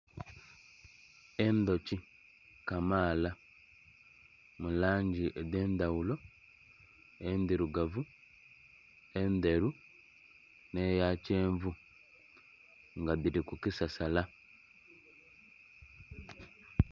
Endhoki kamaala mu langi edhe endhaghulo, endhirugavu, endheru nhe ya kyenvu nga dhiri ku kisasala.